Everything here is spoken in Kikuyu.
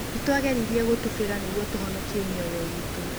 nĩtwageririe gũtubĩra nĩguo tũhonokie mĩoyo iitũ.